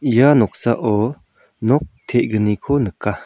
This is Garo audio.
ia noksao nok te·gniko nika.